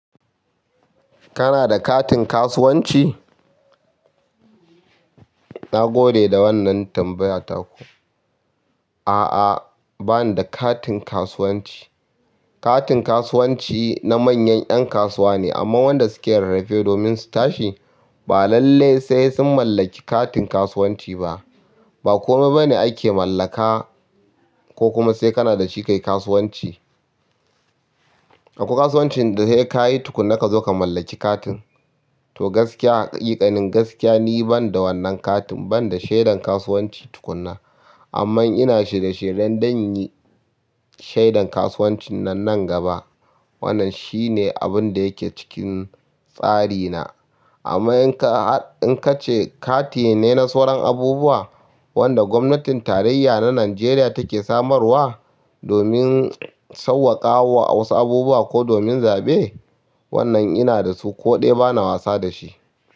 Kana da katin kasuwanci? Na gode da wannan tambayataku. A'a, ba ni da katin kasuwanci. Katin kasuwanci na manyan ƴan kasuwa ne amma wanda suke rarrafe domin su tashi ba lallai sai sun mallaki katin kasuwanci ba. Ba komai bane ake mallaka ko kuma sai kana da shi kai kasuwanci. Akwai kasuwancin da sai ka yi tukuna ka zo ka mallaki katin. To gaskiya, ha ƙiƙanin gaskiya ni ban da wannan katin ban da shaiɗan kasuwanci tukuna. Amma ina shirye-shirye don yin shaiɗan kasuwancinnan nan gaba. Wannan shi ne abin da yake cikin tsari na. Amma in ka ce kati ne na sauran abubuwa wanda gwamnatin tarayya na Najeriya take samarwa domin sauƙaƙawa wasu abubuwa ko domin zaɓe, wannan ina da su ko ɗaya bana wasa da shi.